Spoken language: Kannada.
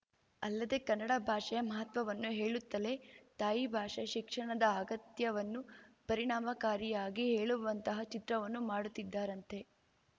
ಅಲ್ಲದೆ ಕನ್ನಡ ಭಾಷೆಯ ಮಹತ್ವವನ್ನು ಹೇಳುತ್ತಲೇ ತಾಯಿ ಭಾಷೆ ಶಿಕ್ಷಣದ ಅಗತ್ಯವನ್ನು ಪರಿಣಾಮಕಾರಿಯಾಗಿ ಹೇಳುವಂತಹ ಚಿತ್ರವನ್ನು ಮಾಡುತ್ತಿದ್ದಾರಂತೆ